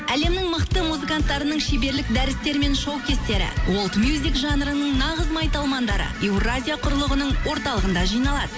әлемнің мықты музыканттарының шеберлік дәрістері мен шоу кестері уолд мюзик жанрының нағыз майталмандары еуразия құрылғының орталығында жиналады